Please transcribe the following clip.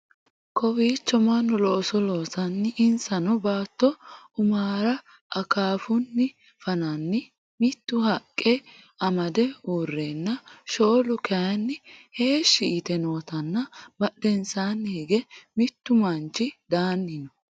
kowiicho mannu looso loosanna insano baatto umara akaafunni fananna mittu haqqa amade uurreenna shoolu kayeenni heeshshi yite nootanna badhensaanni hige mittu manchi daanni no